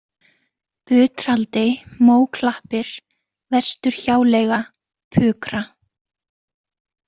Butraldi, Móklappir, Vestur-Hjáleiga, Pukra